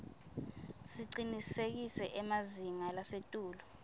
sicinisekise emazinga lasetulu